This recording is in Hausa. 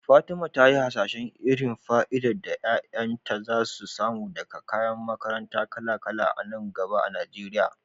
Fatima ta yi hasashen irin fa'idar da 'ya'yanta za su samu daga kayan makaranta kala-kala a nan gaba a Najeriya.